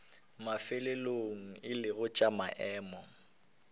mafelelong e lego tša maemo